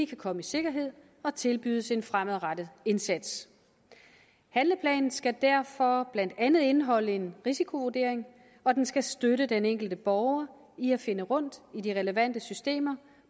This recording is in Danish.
komme i sikkerhed og tilbydes en fremadrettet indsats handleplanen skal derfor blandt andet indeholde en risikovurdering og den skal støtte den enkelte borger i at finde rundt i de relevante systemer